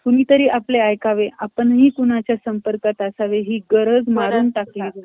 कुणीतरी आपलं ऐकावे , आपणही कुणाचा संपर्कात असावे हि गरज मारून टाकली गेली आहे.